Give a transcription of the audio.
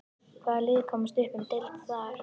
Hvaða lið komast upp um deild þar?